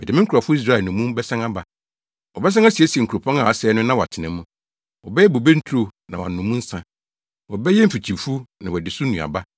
Mede me nkurɔfo Israel nnommum bɛsan aba. “Wɔbɛsan asiesie nkuropɔn a asɛe no na wɔatena mu. Wɔbɛyɛ bobe nturo na wɔanom mu nsa; wɔbɛyɛ mfikyifuw na wɔadi so nnuaba.